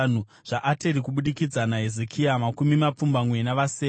zvaAteri (kubudikidza naHezekia), makumi mapfumbamwe navasere;